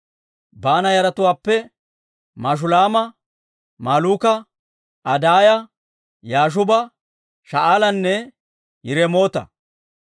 Baana yaratuwaappe Mashulaama, Malluuka, Adaaya, Yaashuuba, Sha'aalanne Yiremoota.